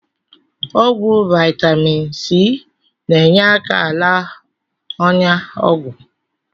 Ọgwụ Vaitamin C na-enyeaka ala ọnyá. Ọgwụ